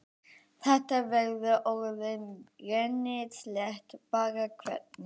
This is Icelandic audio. Þetta verður orðið rennislétt bara hvenær?